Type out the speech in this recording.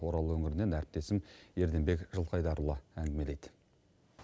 орал өңірінен әріптесім ерденбек жылқайдарұлы әңгімелейді